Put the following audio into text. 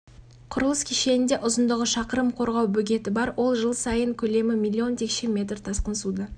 құрылыс кешенінде ұзындығы шақырым қорғау бөгеті бар ол жыл сайын көлемі миллион текше метр тасқын суды